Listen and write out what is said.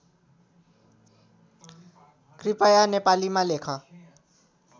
कृपया नेपालीमा लेख